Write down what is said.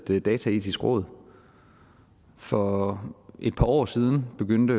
et dataetisk råd for et par år siden begyndte